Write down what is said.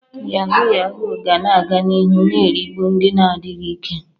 Yahuu yahuu ga na-aga n'ihu na-erigbu ndị na-adịghị ike.